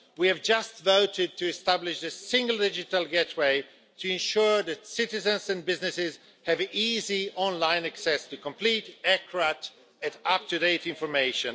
We have just voted to establish a single digital gateway to ensure that citizens and businesses have easy online access to complete, accurate and up to date information.